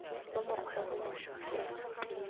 mo mokgweng o moša fela